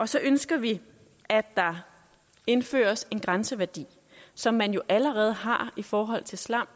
så ønsker vi at der indføres en grænseværdi som man jo allerede har i forhold til slam